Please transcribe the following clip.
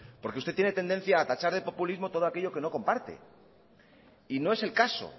porque usted tiene tendencia a tachar de populismo todo aquello que no comparte y no es el caso